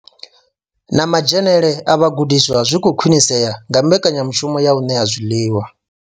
Na madzhenele a vhagudiswa zwi khou khwinisea nga mbekanyamushumo ya u ṋea zwiḽiwa.